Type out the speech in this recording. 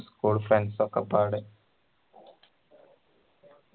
school friends ഒക്കെ പാട്